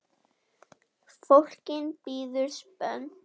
Fólk bíður spennt.